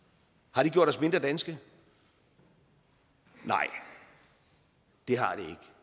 har det gjort os mindre danske nej det har